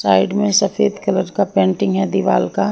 side में सफेद colour का पेंटिंग है दीवाल का--